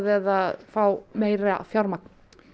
eða að fá meira fjármagn